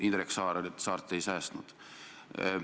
Indrek Saart te ei säästnud.